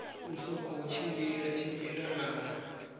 u sokou tshimbila tshimbila na